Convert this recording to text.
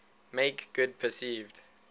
make good perceived